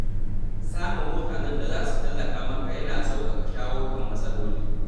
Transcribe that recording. Samun mutanen da za su tallafa maka yana sauƙaƙa shawo kan matsaloli.